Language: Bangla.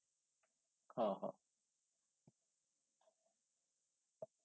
হ হ